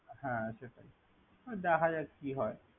হ্যা সেটাই ওই দেখা যাক কি হয়।